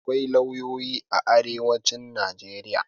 Akwai lauyoyi a arewacin Najeriya.